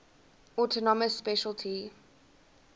autonomous specialty